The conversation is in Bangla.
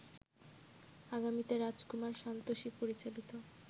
আগামীতে রাজকুমার সান্তোষী পরিচালিত